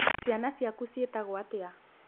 Ciana ciaku ciĩtagwo atĩa?